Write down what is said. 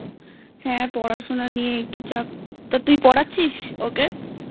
হ্যাঁ পড়াশোনা নিয়ে একটু চাপ তা তুই পড়াচ্ছিস ওকে?